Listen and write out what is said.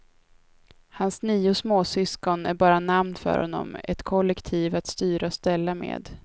Hans nio småsyskon är bara namn för honom, ett kollektiv att styra och ställa med.